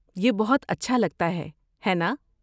یہ بہت اچھا لگتا ہے، ہے نا؟